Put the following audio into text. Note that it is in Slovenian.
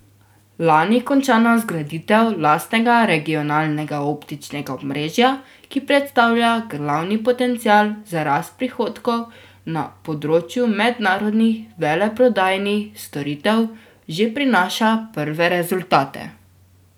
Lani končana zgraditev lastnega regionalnega optičnega omrežja, ki predstavlja glavni potencial za rast prihodkov na področju mednarodnih veleprodajnih storitev, že prinaša prve rezultate.